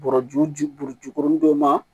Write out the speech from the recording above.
Bɔrɔju ji buru jukurunin don